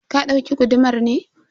ka dauki gudumar ne?